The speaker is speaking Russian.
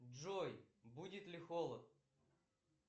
джой будет ли холод